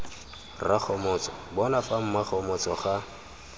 rakgomotso bona fa mmakgomotso ga